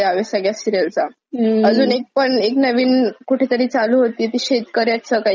पण एक नवीन कुठे तरी चालू होती ती शेतकऱ्याच काहीतरी म्हणजे लग्न करणार तर शेताकार्याशीच!